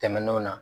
Tɛmɛnenw na